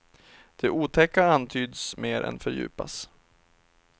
Det otäcka antyds mer än fördjupas.